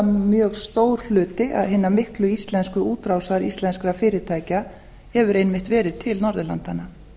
mjög stór hluti hinnar miklu íslensku útrásar íslenskra fyrirtækja hefur einmitt verið til norðurlandanna